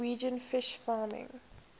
norwegian fish farming